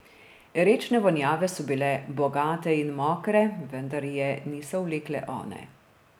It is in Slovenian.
Rečne vonjave so bile bogate in mokre, vendar je niso vlekle one.